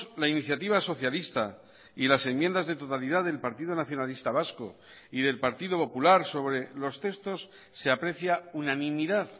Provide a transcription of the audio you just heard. la iniciativa socialista y las enmiendas de totalidad del partido nacionalista vasco y del partido popular sobre los textos se aprecia unanimidad